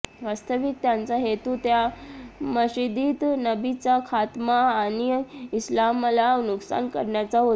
वास्तविक त्यांचा हेतू त्या मशिदीत नबीचा खात्मा आणि इस्लामला नुकसान करण्याचा होता